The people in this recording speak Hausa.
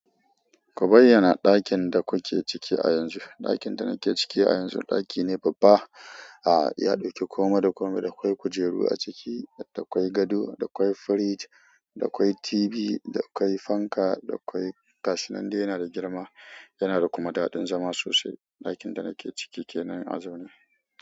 Ku bayyana ɗakin da kuke ciki a yanzu. Ɗakin da nake ciki a yanzu ɗaki ne babba, a iya ɗauke komai da komai. Da kwai kujeru a ciki, da kwai gado, da kwai fridge, da kwai TV, da kwai fanka, da kwai gashi nan dai yana da girma. Yana da kuma daɗin zama sosai. Ɗakin da nake ciki kenan a zaune.